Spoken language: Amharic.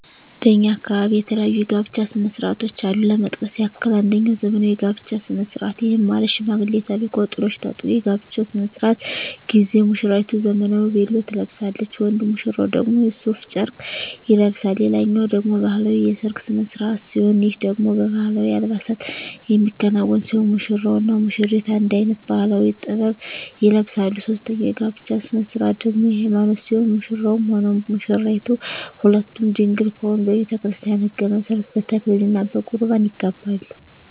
በእኛ አካባቢ የተለያዩ የጋብቻ ስነ ስርዓቶች አሉ ለመጥቀስ ያክል አንጀኛው ዘመናዊ የጋብቻ ስነ ስርዓት ይህም ማለት ሽማግሌ ተልኮ ጥሎሽ ተጥሎ የጋብቻው ስነ ስርዓት ጊዜ ሙስራይቱ ዘመናዊ ቬሎ ትለብሳለች ወንድ ሙሽራው ደግሞ ሡፍ ጨርቅ ይለብሳል ሌላኛው ደግሞ ባህላዊ የሰርግ ስነ ስርዓት ሲሆን ይህ ደግሞ በባህላዊ አልባሳት የሚከናወን ሲሆን ሙሽራው እና ሙሽሪቷ አንድ አይነት ባህላዊ(ጥበብ) ይለብሳሉ ሶስተኛው የጋብቻ ስነ ስርዓት ደግሞ የሀይማኖት ሲሆን ሙሽራውም ሆነ ሙሽራይቷ ሁለቱም ድንግል ከሆኑ በቤተክርስቲያን ህግ መሠረት በተክሊል እና በቁርባን ይጋባሉ።